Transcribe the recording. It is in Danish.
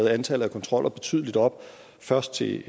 antallet af kontroller betydelig op først til